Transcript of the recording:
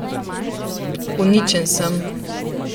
Uničen sem.